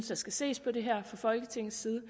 der skal ses på det her fra folketingets side